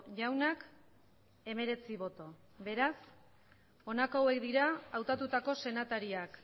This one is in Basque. jaunak hemeretzi boto beraz honako hauek dira hautatutako senatariak